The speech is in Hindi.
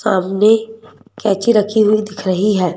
सामने कैची रखी हुई दिख रही है।